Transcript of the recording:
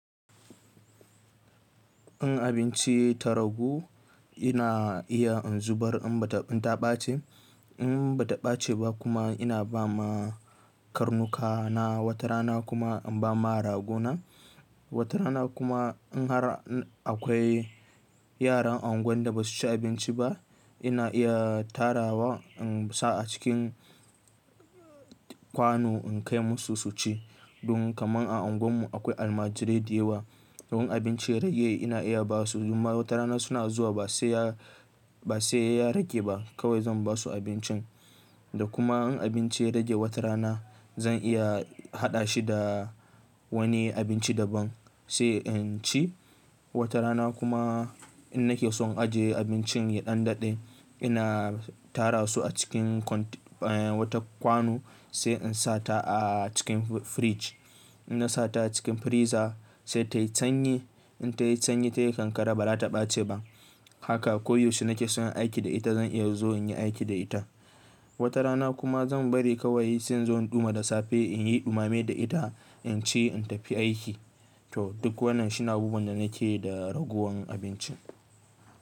In abinci ta ragu ina iya in zubar in bata ɓace. In ba ta ɓace ba kuma ina ba ma karnuka na, wata rana kuma in ba ma ragona. Wata rana kuma in har akwai yaran unguwar da basu ci abinci ba ina iya tara wa in sa a cikin kwano in kai musu su ci. Dun kamar a unguwar mu akwai almajirai da yawa. Don abinci ya rage ina iya ba su. Domin wata rana suna zuwa ba sai ya, ba sai ya rage ba kawai zan ba su abincin. Da kuma in abinci ya rage wata rana zan iya haɗa shi da wani abinci daban sai in ci. Wata rana kuma in nake son aje abincin ya ɗan daɗe ina tara su a cikin kwano sai in sa ta a cikin fridge. In na sa ta cikin freezer sai tayi sanyi. In ta yi sanyi ta yi kankare ba za ta ɓace ba. Haka koyaushe nake son aiki da ita zan iya zo in yi aiki da ita. Wata rana kuma zan bari kawai sai inzo in ɗuma da safe in yi ɗumame da ita in ci in tafi aiki. To duk wannan shine abubuwan da nake yi da ragowar abinci.